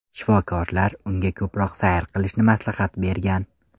Shifokorlar unga ko‘proq sayr qilishni maslahat bergan.